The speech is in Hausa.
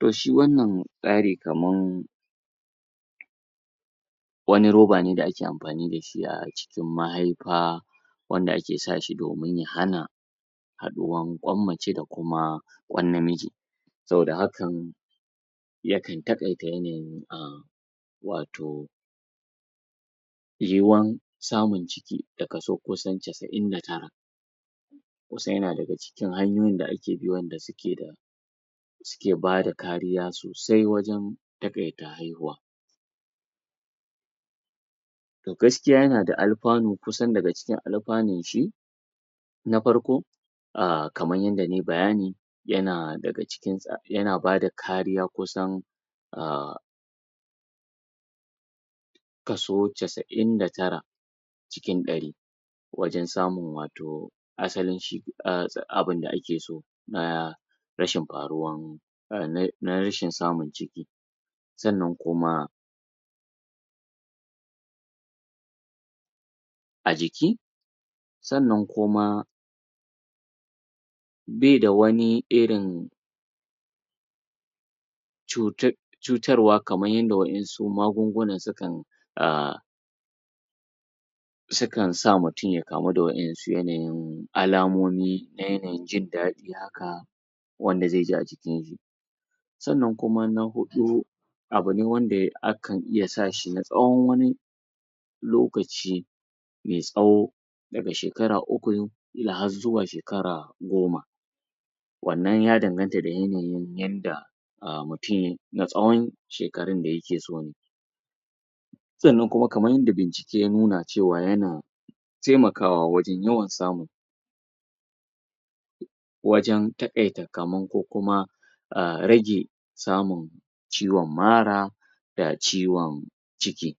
To shi wannan tsari kamar wani roba ne da ake amfani da shi a cikin mahaifa wanda ake sa shi domin ya hana haɗuwar ƙwan mace da kuma ƙwan namiji, saboda hakan yakan taƙaita yanayin wato yiwuwar samun ciki da kaso kusan cas'in da tara (99), kusan ya na daga cikin hanyoyin da ake bi wanda su ke da su ke bada kariya sosai wajen taƙaita haihuwa, gaskiya ya na da amfani kusan daga cikin amfanin shi na farko: kamar yadda na yi bayani ya na daga cikin yana bada kariya kusan a kaso cas'in da tara (99) cikin ɗari wajen samun wato asalin shi abunda ake so na rashin faruwar na rashin samun ciki, sannan kuma a jiki sannan kuma bai da wani irin cutar, cutarwa kamar yadda waɗansu magunguna sukan a sukan sa mutum ya kamu da waɗansu yanayin alamomi na yanayin jin daɗi haka, wanda zai ji a jikinshi, sannan kuma na huɗu abune wanda akan iya sa shi na tsawon wani lokaci mai tsawo daga shekara uku ila har zuwa shekara goma, wannan ya danganta da yanayin yadda a mutum na tsawon shekarun da ya ke so ne, sannan kamar yadda bincike ya nuna ya na taimakawa wajen yawan samu wajen taƙaita kamar ko kuma a rage samun ciwon mara da ciwon ciki,